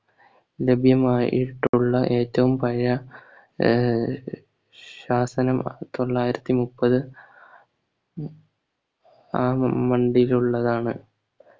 ലഭ്യമായിട്ടുള്ള ഏറ്റവും പഴയ ആഹ് ശാസനം തൊള്ളായിരത്തി മുപ്പത് ഉം അ മണ്ടിലുള്ളതാണ്